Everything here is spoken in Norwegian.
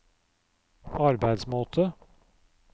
arbeidsmåte